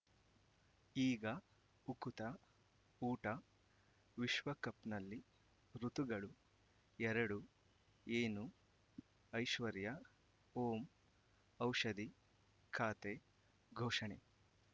ಈಗ ಉಕುತ ಊಟ ವಿಶ್ವಕಪ್‌ನಲ್ಲಿ ಋತುಗಳು ಎರಡು ಏನು ಐಶ್ವರ್ಯಾ ಓಂ ಔಷಧಿ ಖಾತೆ ಘೋಷಣೆ